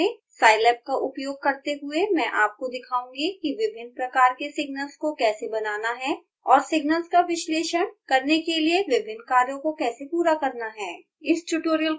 इस ट्यूटोरियल में scilab का उपयोग करते हुए मैं आपको दिखाऊँगी कि विभिन्न प्रकार के सिग्नल्स को कैसे बनाना है और सिग्नल्स का विश्लेषण करने के लिए विभिन्न कार्यों को कैसे पूरा करना है